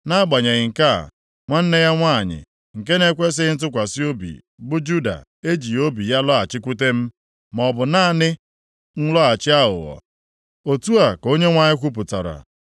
Nʼagbanyeghị nke a, nwanne ya nwanyị nke na-ekwesighị ntụkwasị obi, bụ Juda ejighị obi ya lọghachikwute m, maọbụ naanị nlọghachi aghụghọ,” otu a ka Onyenwe anyị kwupụtara.